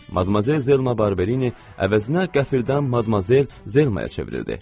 Madmazel Zelma Barberini əvəzinə qəfildən Madmazel Zelmaya çevrildi.